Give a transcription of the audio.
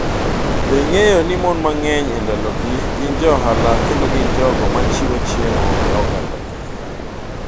Be ing’eyo ni mon mang’eny e ndalogi gin jo ohala kendo gin jogo ma chiwo chiemo ne ogandagi?